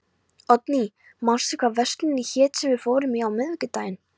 Oddný, manstu hvað verslunin hét sem við fórum í á miðvikudaginn?